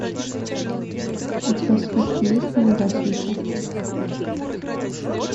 у тебя в списке есть неудачница